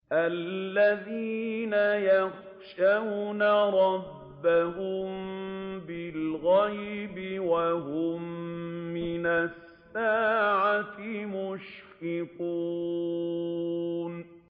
الَّذِينَ يَخْشَوْنَ رَبَّهُم بِالْغَيْبِ وَهُم مِّنَ السَّاعَةِ مُشْفِقُونَ